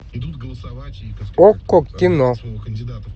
окко кино